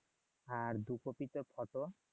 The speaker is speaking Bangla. আর দুই কপি তো